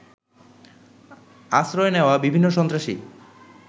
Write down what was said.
আশ্রয় নেওয়া বিভিন্ন সন্ত্রাসী